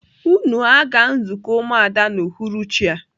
Unu aga nzukọ umuada n'uhuruchi a!